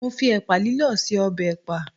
Mo fi ẹ̀pà lílọ̀ ṣe ọbẹ̀ ẹ̀pà.